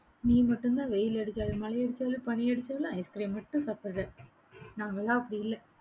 நீ மட்டும்தான் வெயில் அடிச்சாலும், மழை அடிச்சாலும், பனி அடிச்சாலும், ice cream மட்டும் சாப்பிடற. நாங்கெல்லாம் அப்படி இல்லை.